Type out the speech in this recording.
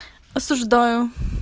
осуждаю